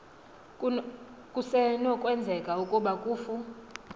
kusenokwenzeka ukuba kufu